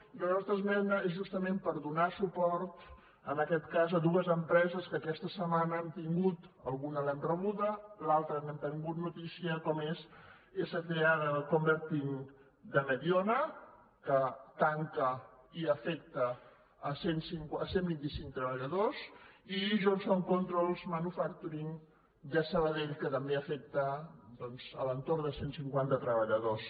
i la nostra esmena és justament per donar suport en aquest cas a dues empreses que aquesta setmana han tingut alguna l’hem rebuda l’altra n’hem tingut notícia com és sca converting de mediona que tanca i afecta cent i vint cinc treballadors i johnson controls manufacturing de sabadell que també afecta doncs a l’entorn de cent i cinquanta treballadors